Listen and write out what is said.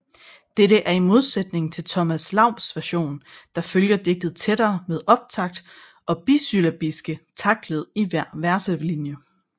Dette er i modsætning til Thomas Laubs version der følger digtet tættere med optakt og bisyllabiske taktled i hver verselinje